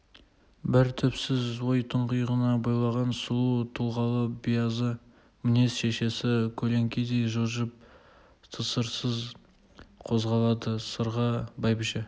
бір түпсіз ой тұңғиығына бойлаған сұлу тұлғалы биязы мінез шешесі көлеңкедей жылжып тысырсыз қозғалады сырға бәйбіше